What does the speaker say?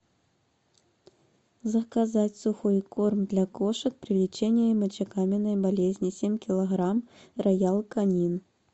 заказать сухой корм для кошек при лечении мочекаменной болезни семь килограмм роял канин